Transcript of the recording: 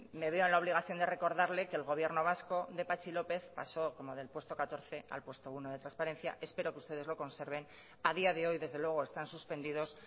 me veo en la obligación de recordarle que el gobierno vasco de patxi lópez pasó como del puesto catorce al puesto uno de transparencia espero que ustedes lo conserven a día de hoy desde luego están suspendidos